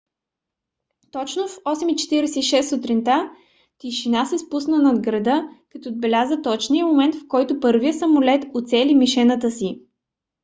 точно в 8:46 сутринта тишина се спусна над града като отбеляза точния момент в който първият самолет уцели мишената си